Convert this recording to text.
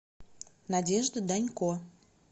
надежда данько